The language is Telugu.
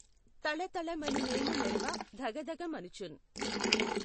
తళతళ మని మేను మెఱవ ధగధగ మనుచున్